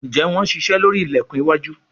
Njé Wón ṣiṣe lórí ilẹkùn iwájú?